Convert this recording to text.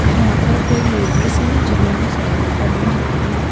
यहाँ पर कई लेडीज हैं जिन्होंने साड़ी पहनी हुई है।